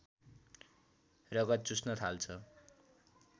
रगत चुस्न थाल्छ